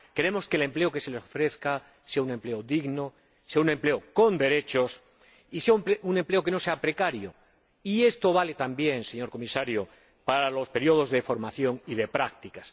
queremos que el empleo que se les ofrezca sea un empleo digno, sea un empleo con derechos y sea un empleo que no sea precario, y esto vale también, señor Comisario, para los períodos de formación y de prácticas